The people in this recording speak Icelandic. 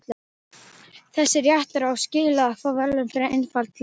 Þessi réttur á skilið að fá verðlaun fyrir einfaldleika.